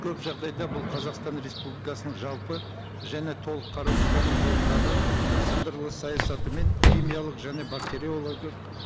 көп жағдайда бұл қазақстан республикасының жалпы және толық қарусыздану жолындағы сындарлы саясаты мен химиялық және бактериологиялық